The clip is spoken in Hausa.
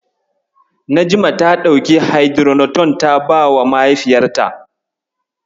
Najma ta ɗauki Haidiroton ta bawa mahaifiyarta.